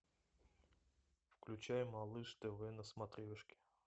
включай малыш тв на смотрешке